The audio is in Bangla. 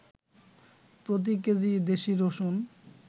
প্রতি কেজি দেশি রসুন